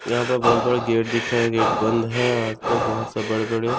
यहाँ पर बहुत बड़ा गेट दिख रहा है गेट बंद है। आसपास बहुत से बड़े बड़े--